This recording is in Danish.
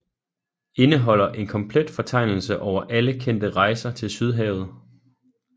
Indeholder en komplet fortegnelse over alle kendte rejser til Sydhavet